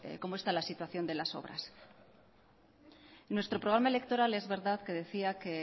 cómo está la situación de las obras nuestro programa electoral es verdad que decía que